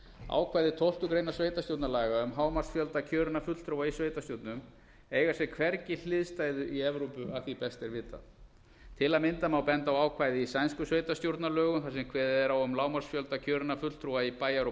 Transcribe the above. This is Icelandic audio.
ákvæði tólftu greinar sveitarstjórnarlaga um hámarksfjölda kjörinna fulltrúa í sveitarstjórnum eiga sér hvergi hliðstæðu í evrópu að því best er vitað til að mynda má benda á ákvæði í sænskum sveitarstjórnarlögum þar sem kveðið er á um lágmarksfjölda kjörinna fulltrúa í bæjar og